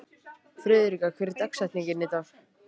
Friðrika, hver er dagsetningin í dag?